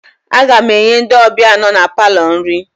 Aga m enye ndị ọbịa nọ na palọ nri